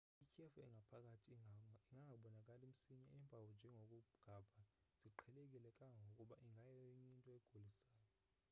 ityhefu engaphakathi ingangabonakali msinya iimpawu njengokugabha ziqheleke kangangoba ingayenyinto egulisayo